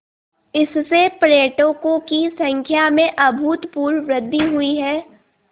इससे पर्यटकों की संख्या में अभूतपूर्व वृद्धि हुई है